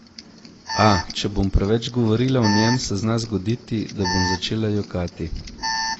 A, če bom preveč govorila o njem, se zna zgoditi, da bom začela jokati.